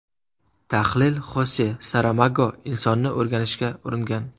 Tahlil Xose Saramago insonni o‘rganishga uringan.